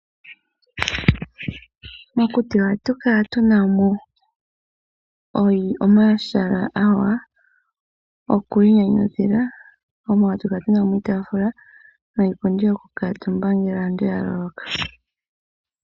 Mokuti ohatu kala tunamo omahala omawanawa gokwiinyanyudha, mono hatu kala tunamo iitafula, niipundi yokukuuntumba ngele aantu yavulwa.